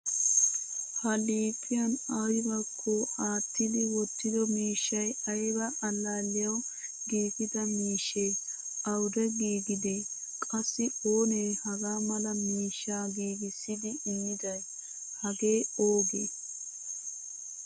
Ha liiphphiyaan aybako aattidi wottido miishshay ayba allaliyaawu giigida miishshe? Awude giigide? Qassi oonee hagaa mala miishsha giigisidi immiday? Hage ooge?